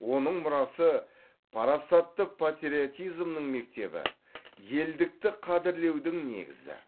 оның мұрасы парасатты патриотизмнің мектебі елдікті қадірлеудің негізі